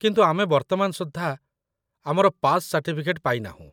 କିନ୍ତୁ ଆମେ ବର୍ତ୍ତମାନ ସୁଦ୍ଧା ଆମର ପାସ୍ ସାର୍ଟିଫିକେଟ୍ ପାଇନାହୁଁ